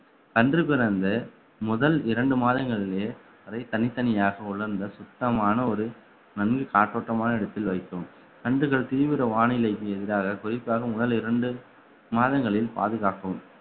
கன்று பிறந்த முதல் இரண்டு மாதங்களிலே அதை தனித்தனியாக உலர்ந்த சுத்தமான ஒரு நன்கு காற்றோட்டமான இடத்தில் வைக்கவும் கன்றுகள் தீவிர வானிலைக்கு எதிராக குறிப்பாக முதல் இரண்டு மாதங்களில் பாதுகாக்கவும்